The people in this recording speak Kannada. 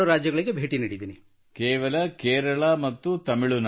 ಹಾಗಾದರೆ ದೆಹಲಿಗೆ ಭೇಟಿ ನೀಡಲು ಇಷ್ಟಪಡುತ್ತೀರಾ so would you like to visit Delhi